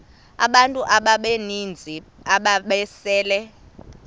abantu abaninzi ababesele